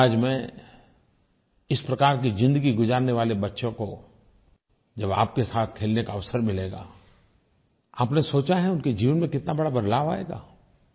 समाज में इस प्रकार की ज़िंदगी गुज़ारने वाले बच्चों को जब आपके साथ खेलने का अवसर मिलेगा आपने सोचा है उनके जीवन में कितना बड़ा बदलाव आएगा